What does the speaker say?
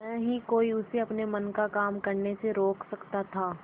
न ही कोई उसे अपने मन का काम करने से रोक सकता था